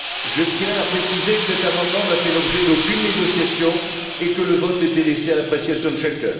Je tiens à préciser que cet amendement n'a fait l'objet d'aucune négociation et que le vote a été laissé à l'appréciation de chacun.